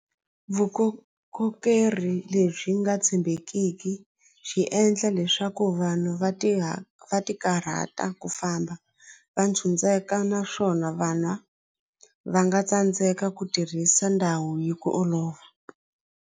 lebyi nga tshembekiki byi endla leswaku vanhu va ti va ti karhata ku famba va naswona va nga tsandzeka ku tirhisa ndhawu hi ku olova.